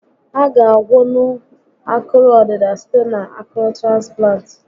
A ga a gwọnwu akụrụ ọdịda site na akụrụ transplant